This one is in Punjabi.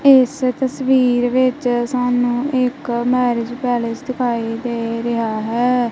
ਏਸ ਤਸਵੀਰ ਵਿਸ਼ ਸਾਨੂੰ ਇੱਕ ਮੈਰਿਜ ਪੈਲੇਸ ਦਿਖਾਈ ਦੇ ਰਿਹਾ ਹੈ।